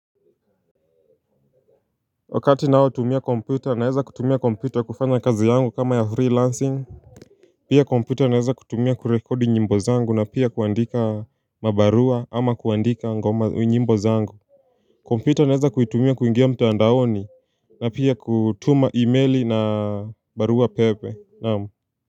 Wakati ninayotumia kompyuta naweza kutumia kompyuta kufanya kazi yangu kama ya freelancing. Pia kompyuta naweza kutumia kurekodi nyimbo zangu na pia kuandika mabarua ama kuandika nyimbo zangu kompyuta naweza kuitumia kuingia mtaandaoni na pia kutuma email na barua pepe naam.